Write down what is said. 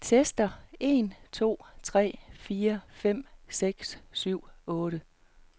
Tester en to tre fire fem seks syv otte.